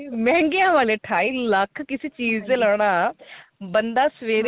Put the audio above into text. ਮੈਂ ਉਹੀ ਮਹਿੰਗੀਆ ਵਾਲੇ ਅਠਾਈ lakh ਕਿਸੀ ਚੀਜ਼ ਤੇ ਲਾਣਾ ਬੰਦਾ ਸਵੇਰੇ